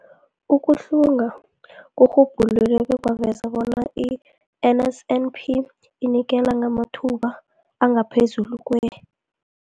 Ukuhlunga kurhubhulule bekwaveza bona i-NSNP inikela ngamathuba angaphezulu kwe-